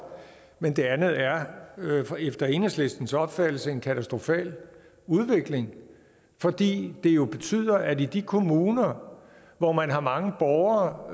men det andet er efter enhedslistens opfattelse en katastrofal udvikling fordi det jo betyder at i de kommuner hvor man har mange borgere